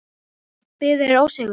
Biðu þeir ósigur.